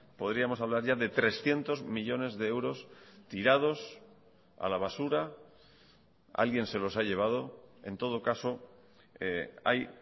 podríamos hablar ya de trescientos millónes de euros tirados a la basura alguien se los ha llevado en todo caso hay